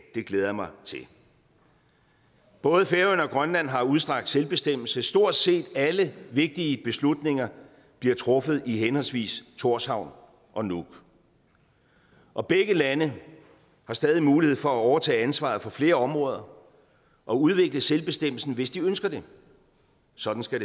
det glæder jeg mig til både færøerne og grønland har udstrakt selvbestemmelse stort set alle vigtige beslutninger bliver truffet i henholdsvis tórshavn og nuuk og begge lande har stadig mulighed for at overtage ansvaret for flere områder og udvikle selvbestemmelsen hvis de ønsker det sådan skal